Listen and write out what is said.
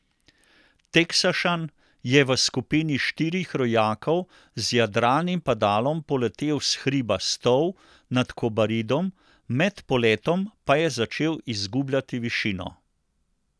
Teksašan je v skupini štirih rojakov z jadralnim padalom poletel s hriba Stol nad Kobaridom, med poletom pa je začel izgubljati višino.